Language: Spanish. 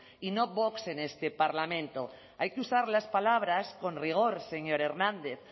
y no vox en este parlamento hay que usar las palabras con rigor señor hernández